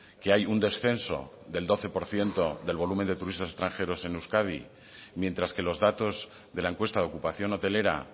que hay un descenso del doce por ciento del volumen de turistas extranjeros en euskadi mientras que los datos de la encuesta de ocupación hotelera